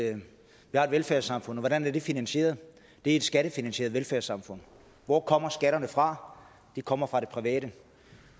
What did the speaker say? at vi har et velfærdssamfund hvordan er det finansieret det er et skattefinansieret velfærdssamfund hvor kommer skatterne fra de kommer fra det private